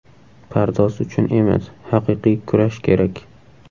Pardoz uchun emas, haqiqiy kurash kerak.